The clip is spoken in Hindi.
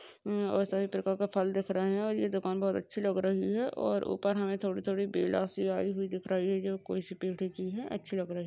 उम्म सारी प्रकार का फल दिख रहे है और ये दुकान बहोत अच्छी लग रही है और ऊपर हमे थोड़ी थोड़ी बेला सी आयी हुई दिख रही है जो कोई सी की है अच्छी लग रही है।